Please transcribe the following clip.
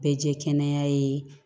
Bɛɛ jɛ kɛnɛya ye